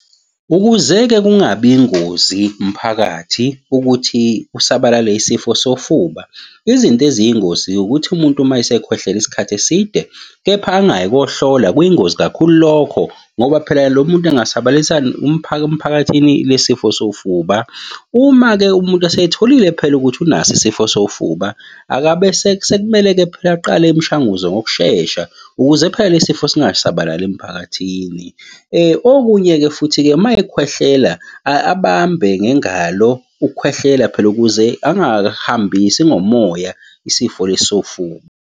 Ukuze-ke kungabi ingozi mphakathi ukuthi kusabalale isifo sofuba, izinto eziyingozi ukuthi umuntu uma esekhwehlele isikhathi eside, kepha angayi ukuyohlola kuyingozi kakhulu lokho, ngoba phela lo muntu angasabalalisa emphakathini le sifo sofuba. Uma-ke umuntu esetholile phela ukuthi unaso isifo sofuba akabe sekumele-ke phela aqale imishanguzo ngokushesha, ukuze phela le sifo singasabalali emphakathini. Okunye-ke futhi-ke uma ekhwehlela abambe ngengalo ukukhwehlela phela ukuze angahambisi ngomoya isifo lesi sofuba.